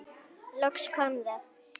Loks kom það.